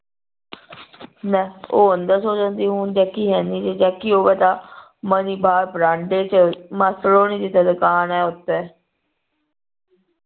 ਲੈ ਉਹ ਅੰਦਰ ਸੌ ਜਾਂਦੀ ਹੁਣ jackie ਹੈਨੀ ਜੇ jackie ਹੋਵੇ ਤਾਂ ਮਨੀ ਬਾਹਰ ਬਰਾਂਡੇ ਵਿਚ ਮਾਸੜ ਹੋਣੀ ਜਿਥੇ ਦੁਕਾਨ ਆ ਉਥੇ